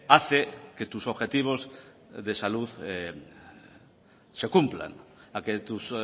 hace que tus objetivos de salud se cumplan a que tus